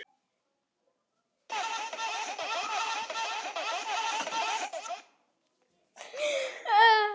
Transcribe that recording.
Mávarnir með fiski-tægjuna grípa athygli hans.